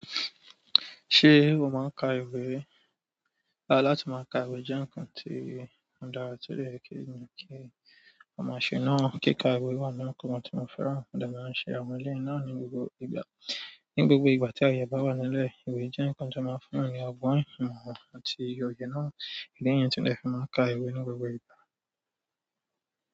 Ṣé o máa ń ka ìwé? Rárá, láti máa ka ìwé jẹ́ ǹkan tó dára, tó lè kí mi kí àwọn aṣè náà kíkà ìwé náà kó máa tó máa fẹ́ràn. Mo dẹ à máa ń ṣe àwọn ilé náà ní gbogbo ìgbà. Ní gbogbo ìgbà tí aye rẹ bá wà nílẹ̀, ìwé jẹ́ ǹkan tó máa ń fún ènìyàn ní àwọn ìmọ̀ àti iye náà, ilé ìyẹn tí wọ́n lè fi máa ka ìwé ní gbogbo ìgbà.